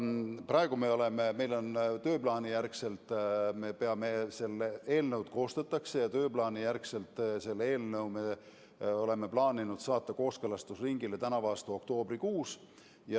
Praegu seda eelnõu koostatakse ja tööplaani järgi oleme selle plaaninud saata kooskõlastusringile tänavu aasta oktoobrikuus.